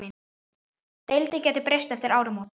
Deildin gæti breyst eftir áramót.